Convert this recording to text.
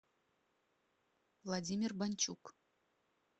владимир бончук